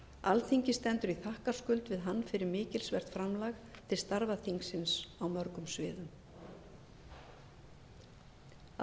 alþingi stendur í þakkarskuld við hann fyrir mikilsvert framlag til starfa þingsins á mörgum sviðum að